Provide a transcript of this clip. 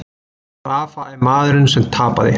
Rafa er maðurinn sem tapaði